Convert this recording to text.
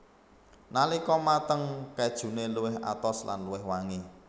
Nalika mateng kejune luwih atos lan luwih wangi